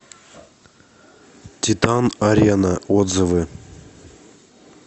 титан арена отзывы